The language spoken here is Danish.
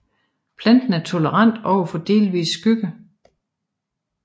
Planten er tolerant over for delvis skygge